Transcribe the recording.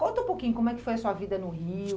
Conta um pouquinho como é que foi a sua vida no Rio.